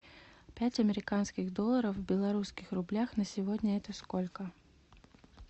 пять американских долларов в белорусских рублях на сегодня это сколько